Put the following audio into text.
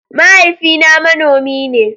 Mahaifina manomi ne.